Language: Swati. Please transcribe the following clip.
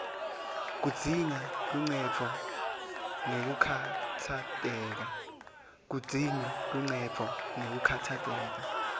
kudzinga luncendvo ngekukhatsateka